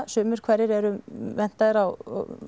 sumir hverjir eru menntaðir á